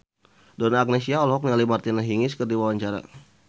Donna Agnesia olohok ningali Martina Hingis keur diwawancara